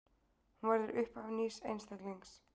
Hún verður upphaf nýs einstaklings.